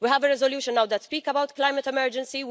We have a resolution now that speaks about climate emergency.